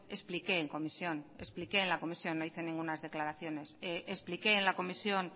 expliqué en comisión expliqué en la comisión no hice ningunas declaraciones expliqué en la comisión